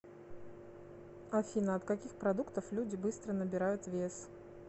афина от каких продуктов люди быстро набирают вес